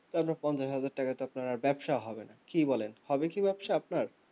তারপর পঞ্চাশ হাজার টাকা তে আপনার আর ব্যবসা হবে না কি বলেন হবে কি ব্যবসা আপনার